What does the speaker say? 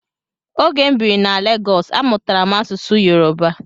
Ógè m bírí na Legọs, amụtara m asụsụ Yoruba.